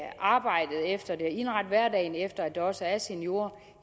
arbejdet efter det indrette hverdagen efter at der også er seniorer